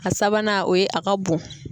A sabanan o ye a ka bon.